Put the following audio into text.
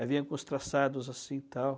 Aí vinha com uns traçados assim e tal.